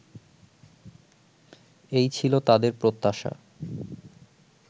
এই ছিল তাঁদের প্রত্যাশা